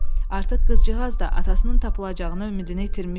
Artıq qızcığaz da atasının tapılacağına ümidini itirmişdi.